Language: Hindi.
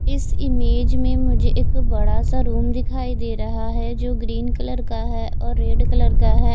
इस इमेज में मुझे एक बड़ा सा रूम दिखाई दे रहा है जो ग्रीन कलर का है और रेड कलर का है।